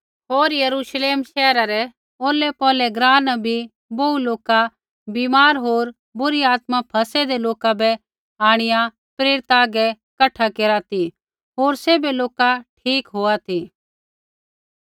होर यरूश्लेम शैहरा रै औरलैपौरलै ग्राँ न बी बोहू लोका बीमार होर बुरी आत्मा फ़ैसेदे लोका बै आंणिआ प्रेरिता हागै कठा केरा ती होर सैभै लोका ठीक होआ ती